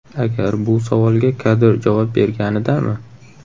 Agar bu savolga Kadir javob berganidami?!